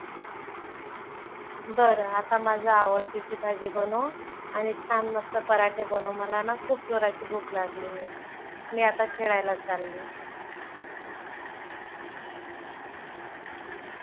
बरं. आता माझी आवडतीची भाजी बनव आणि छान मस्त पराठे बनव. मला ना खूप जोराची भूक लागली आहे. मी आता खेळायला चालले.